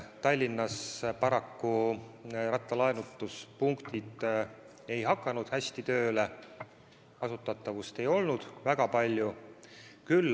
Tallinnas paraku rattalaenutuspunktid ei hakanud hästi tööle, kasutatavust ei olnud väga palju.